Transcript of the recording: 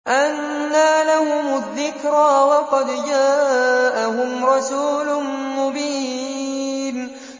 أَنَّىٰ لَهُمُ الذِّكْرَىٰ وَقَدْ جَاءَهُمْ رَسُولٌ مُّبِينٌ